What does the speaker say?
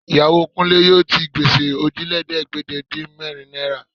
Ìyàwó Kúnlé yóò ti gbèsè Òjìlélẹ́ẹ̀ẹ́dégbèje-dín-mẹ́rin náírà